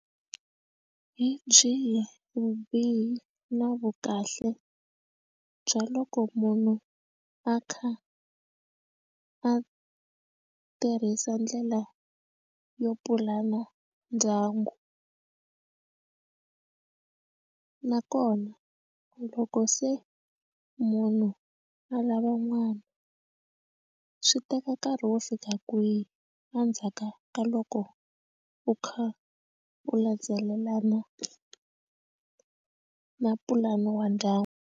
Hi byihi vubihi na vu kahle bya loko munhu a kha a tirhisa ndlela yo pulana ndyangu a nakona loko se munhu a lava n'wana swi teka nkarhi wo fika kwihi endzhaka ka loko u kha u landzelelana na pulani wa ndyangu.